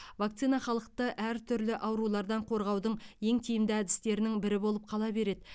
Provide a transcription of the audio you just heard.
вакцина халықты әртүрлі аурулардан қорғаудың ең тиімді әдістерінің бірі болып қала береді